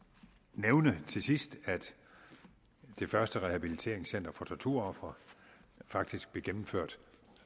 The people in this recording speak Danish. nævne til sidst at det første rehabiliteringscenter for torturofre faktisk blev gennemført